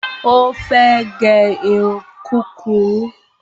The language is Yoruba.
Ó fẹ́ gẹ irun kúrurú